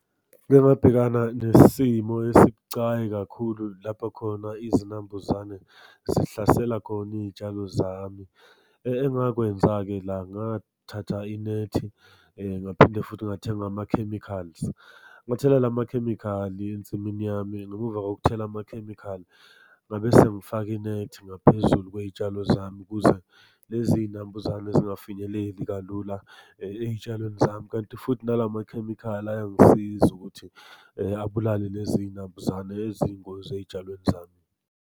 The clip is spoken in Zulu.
Ngike ngabhekana nesimo esibucayi kakhulu lapho khona izinambuzane zihlasela khona iy'tshalo zami. Engakwenza-ke la ngathatha inethi, ngaphinde futhi ngathenga amakhemikhali. Ngathela la makhemikhali ensimini yami, ngemumva kokuthela amakhemikhali ngabe sengifaka inethi ngaphezulu kwey'tshalo zami ukuze lezi iy'inambuzane zingafinyeleli kalula ey'tshalweni zami, kanti futhi nala makhemikhali ayangisiza ukuthi abulale lezi iy'nambuzane eziyingozi ey'tshalweni zami.